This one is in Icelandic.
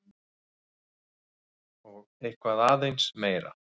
Og eitthvað aðeins meira!